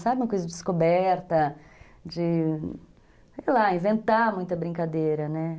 Sabe uma coisa de descoberta, de, sei lá, inventar muita brincadeira, né?